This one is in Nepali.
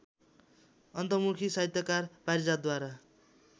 अन्तर्मुखी साहित्यकार पारिजातद्वारा